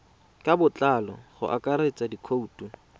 ka botlalo go akaretsa dikhoutu